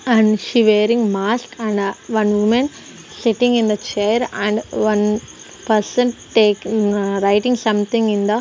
and she wearing mask and one woman sitting in the chair and one person take ah writing something in the --